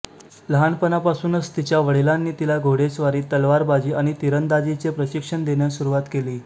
लहानपणापासूनच तिच्या वडिलांनी तिला घोडेस्वारी तलवारबाजी आणि तिरंदाजीचे प्रशिक्षण देण्यास सुरुवात केली